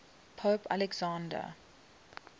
pope alexander